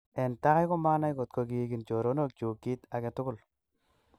En tai komaanai kotko kigin choronokyuk kit age tugul.